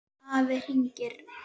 Afi hringir